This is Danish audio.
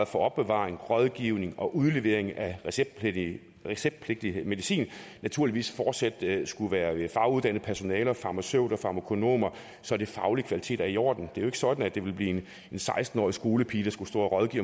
for opbevaring rådgivning og udlevering af receptpligtig receptpligtig medicin naturligvis fortsat skulle være faguddannet personale farmaceuter og farmakonomer så den faglige kvalitet er i orden det er jo ikke sådan at det ville blive en seksten årig skolepige der skulle stå og rådgive